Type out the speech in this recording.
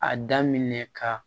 A daminɛ ka